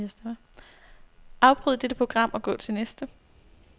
Afbryd dette program og gå til næste.